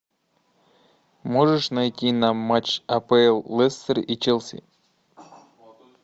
можешь найти нам матч апл лестер и челси